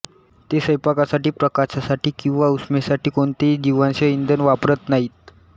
ते स्वयंपाकासाठी प्रकाशासाठी किंवा उष्मेसाठी कोणतेही जीवाश्म इंधन वापरत नाहीत